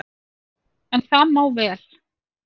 En það má vel,